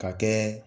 Ka kɛ